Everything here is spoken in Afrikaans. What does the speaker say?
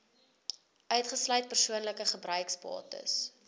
uitgesluit persoonlike gebruiksbates